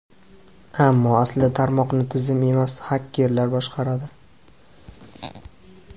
Ammo aslida tarmoqni tizim emas, xakerlar boshqaradi.